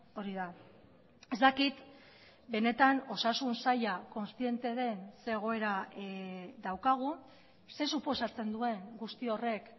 hori da ez dakit benetan osasun saila kontziente den ze egoera daukagun zer suposatzen duen guzti horrek